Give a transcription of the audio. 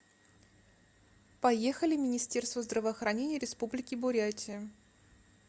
поехали министерство здравоохранения республики бурятия